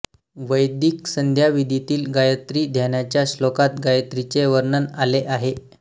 वैदिक संध्याविधीतील गायत्री ध्यानाच्या श्लोकात गायत्रीचे वर्णन आले आहे